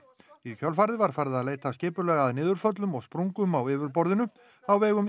í kjölfarið var farið að leita skipulega að niðurföllum og sprungum á yfirborðinu á vegum